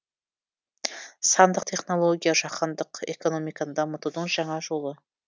сандық технология жаһандық экономиканы дамытудың жаңа жолы